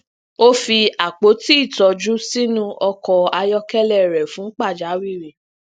ó fi àpòti ìtójú sínú ọkò ayókélé rè fun pàjáwìrì